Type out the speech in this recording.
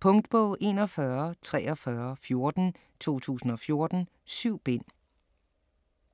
Punktbog 414314 2014. 7 bind.